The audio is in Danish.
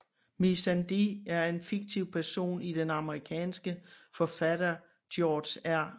Missandei er en fiktiv person i den amerikanske forfatter George R